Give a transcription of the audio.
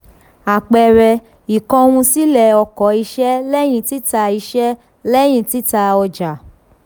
àpẹẹrẹ: ìkóhunsílẹ̀ ọkọ̀ iṣẹ́ lẹ́yìn tita iṣẹ́ lẹ́yìn tita ọjà.